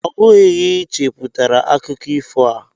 Ọ bụghị gị cheputara akụkọ ifo a